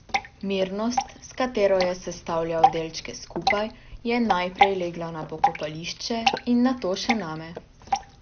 Mirnost, s katero je sestavljal delčke skupaj, je najprej legla na pokopališče in nato še name.